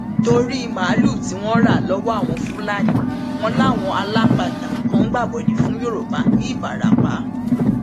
torí màálùú tí wọn ń rà lọwọ àwọn fúlàní wọn làwọn alápatà kan gbàbọdé fún yorùbá ńìbarapá